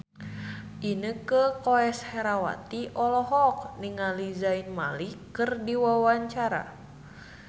Inneke Koesherawati olohok ningali Zayn Malik keur diwawancara